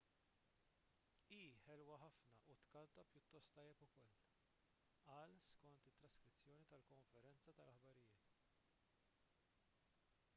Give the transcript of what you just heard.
hi ħelwa ħafna u tkanta pjuttost tajjeb ukoll qal skont traskrizzjoni tal-konferenza tal-aħbarijiet